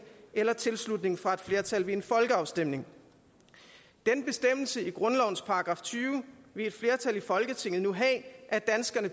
eller tilslutning fra et flertal ved en folkeafstemning den bestemmelse i grundlovens § tyve vil et flertal i folketinget nu have at danskerne